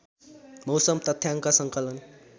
मौसम तथ्याङ्क सङ्कलन